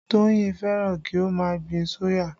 Toyin fẹ́ràn kí ó má gbin soya